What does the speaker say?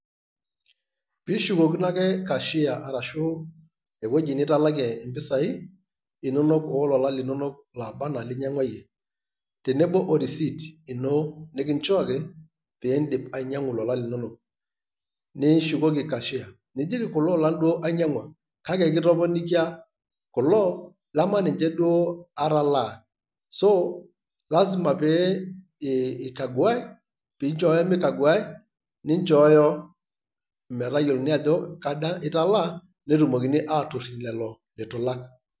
Pishukokino ake cashier arashu ewueji nitalakie impisai inonok ololan linonok laba anaa ilinyangwa iyie tenebo o receipt ino nikinchooki pin`dip ainyangu ilolan linonok nishukoki cashier nijoki kulo olan duo ainyangwa kake kitoponikia kulo lemaniche duoo atalaa so lazima pee ee eikaguae ,nichooyo nichooyo metayiolouni ajo kaja italaa netumokini atoriny lelo lituilak